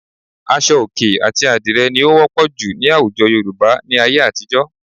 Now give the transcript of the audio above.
Aṣọ òkè àti àdìrẹ ni ó wọ́pọ̀ jù ní àwùjọ Yorùbá ní ayé àtijọ́